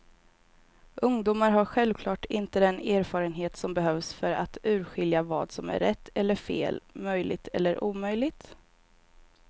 Ungdomar har självklart inte den erfarenhet som behövs för att urskilja vad som är rätt eller fel, möjligt eller omöjligt.